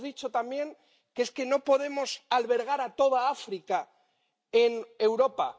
Y hemos dicho también que no podemos albergar a toda África en Europa.